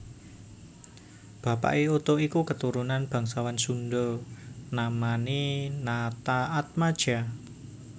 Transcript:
Bapake Oto iku keturunan bangsawan Sunda namane Nataatmadja